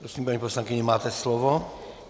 Prosím, paní poslankyně, máte slovo.